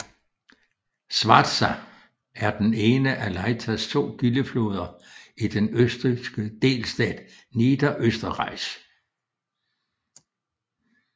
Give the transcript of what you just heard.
Schwarza er den ene af Leithas to kildefloder i den østrigske delstat Niederösterreich